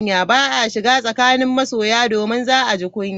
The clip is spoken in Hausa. Ba a shiga tsakanin masoya, domin za a ji kunya.